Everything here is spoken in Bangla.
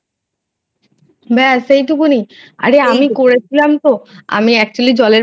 বেশ এইটুকুনি। আরে আমি করেছিলাম তো আমি actually জলের